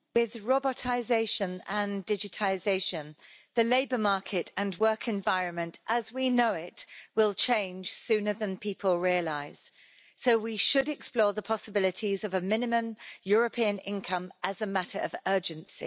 Madam President, with robotisation and digitisation, the labour market and work environment as we know it will change sooner than people realise, so we should explore the possibilities of a minimum European income as a matter of urgency.